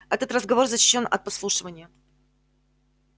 этот разговор защищён от подслушивания